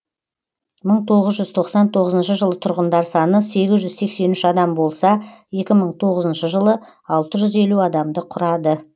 мың тоғыз жүз тоқсан тоғызыншы жылы тұрғындар саны сегіз жүз сексен үш адам болса екі мың тоғызыншы жылы алты жүз елу адамды құрады